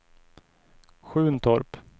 Sjuntorp